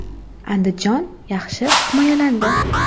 “Andijon” yaxshi himoyalandi.